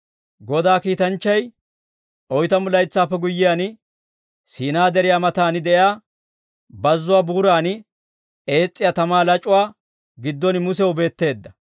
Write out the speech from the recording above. «Godaa kiitanchchay oytamu laytsaappe guyyiyaan, Siinaa Deriyaa matan de'iyaa bazzuwaa buuran ees's'iyaa tamaa lac'uwaa giddon Musew beetteedda.